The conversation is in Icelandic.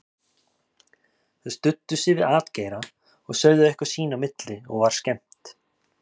Þeir studdu sig við atgeira og sögðu eitthvað sín á milli og var skemmt.